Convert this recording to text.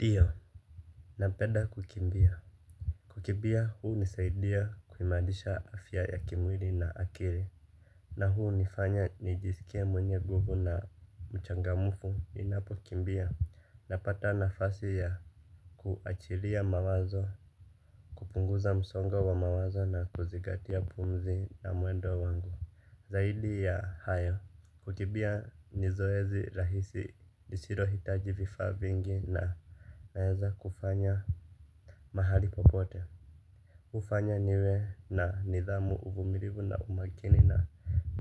Ndio. Napenda kukimbia. Kukibia huu nisaidia kuimarisha afya ya kimwili na akili. Na huu nifanya nijisikie mwenye nguvu na mchangamfu. Ninapokimbia. Napata nafasi ya kuachilia mawazo. Kupunguza msongo wa mawazo na kuzigatia pumzi na mwendo wangu. Zaidi ya haya. Kukibia ni zoezi rahisi lisilo hitaji vifaa vingi na naeza kufanya. Mahali popote hufanya niwe na nidhamu uvumilivu na umakini na